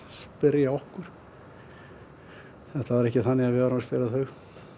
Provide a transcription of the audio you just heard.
spyrja okkur þetta var ekki þannig að við vorum að spyrja þau